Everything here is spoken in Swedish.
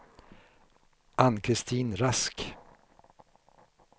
Ann-Kristin Rask